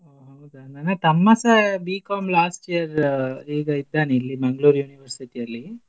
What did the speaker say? ಒ ಹೌದಾ ನನ್ನ ತಮ್ಮಸಾ B.Com last year ಈಗ ಇದ್ದಾನೆ ಇಲ್ಲಿ Mangalore University ಅಲ್ಲಿ.